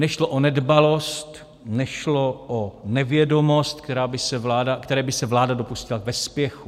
Nešlo o nedbalost, nešlo o nevědomost, které by se vláda dopustila ve spěchu.